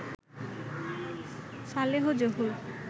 Saleh Zahur